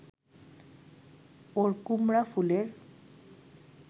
ওর কুমড়াফুলের